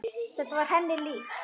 Þetta var henni líkt.